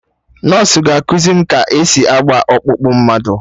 Nọsụ ga-ekuzi m ka esi agba ọkpụkpụ mmadụ